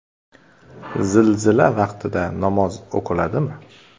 Zilzila vaqtida namoz o‘qiladimi?.